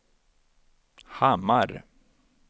Hammar